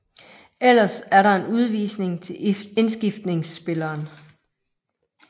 Ellers er der en udvisning til indskiftningsspilleren